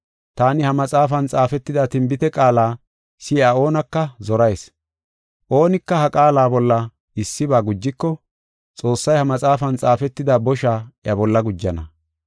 Taani ha maxaafan xaafetida tinbite qaala si7iya oonaka zorayis. Oonika ha qaala bolla issiba gujiko, Xoossay ha maxaafan xaafetida bosha iya bolla gujana.